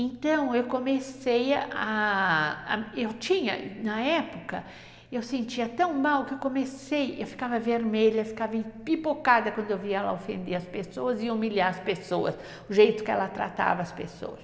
Então, eu comecei a... Eu tinha, na época, eu sentia tão mal que eu comecei, eu ficava vermelha, eu ficava empipocada quando eu via ela ofender as pessoas e humilhar as pessoas, o jeito que ela tratava as pessoas.